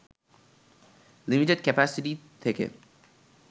limited capacity থেকে